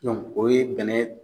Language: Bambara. o ye bɛnɛ